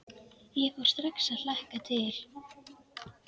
Ég fór strax að hlakka til.